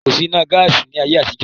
Kòsí iná gaásì ni ayé àtijọ́.